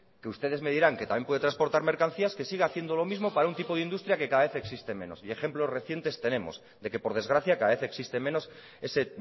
que ustedes me dirán que también puede transportar mercancías que siga haciendo lo mismo para un tipo de industria que cada vez existe menos y ejemplos recientes tenemos de que por desgracia cada vez existe menos ese